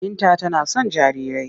Binta tana son jarirai.